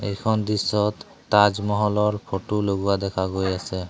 এইখন দৃশ্যত তাজমহলৰ ফটো লগোৱা দেখা গৈ আছে।